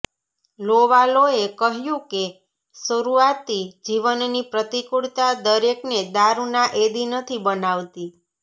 લોવાલોએ કહ્યું કે શરુઆતી જીવનની પ્રતિકૂળતા દરેકને દારુના એદી નથી બનાવતી